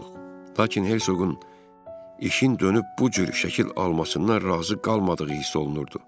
Lakin Hersoqun işin dönüb bu cür şəkil almasından razı qalmadığı hiss olunurdu.